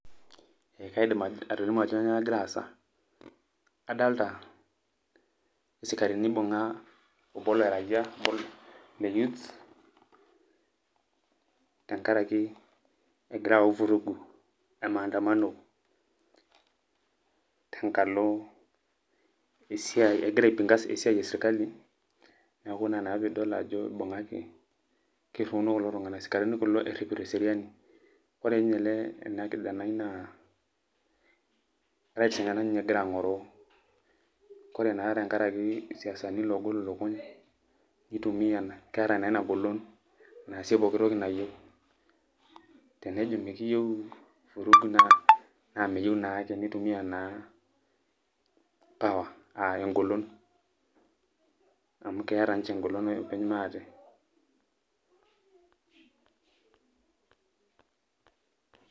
Ekaidim atolimu ajo kanyioo nagira aasa. Kadalta isikarini ibung'a obo leraiyia, le youths, tenkaraki egira au vurugu e maandamano ,tenkalo esiai egira ai pinga esiai esirkali, neeku ina naa pidol ajo ibung'aki, kirriuno kulo tung'anak, isikarini kulo erripito eseriani. Ore nye ele ena kijanai naa, rights enyanak ninye egira ang'oroo. Kore naa tenkaraki isiasani loogol ilukuny, nitumia ena, keeta naa inagolon naasie pooki toki nayieu. Tenejo mikiyieu vurugu, naa meyieu naake, nitumia naa power ah egolon. Amu keeta nche egolon openy maate.